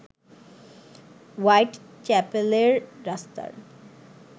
white চ্যাপেলের রাস্তার